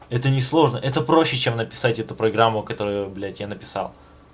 это не сложно это проще чем написать эту программу которую блять я написал